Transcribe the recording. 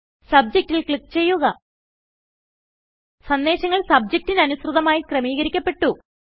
Subjectൽ click ചെയ്യുക സന്ദേശങ്ങൾ സബ്ജക്റ്റിന് അനുസൃതമായി ക്രമീകരിക്കപെട്ടു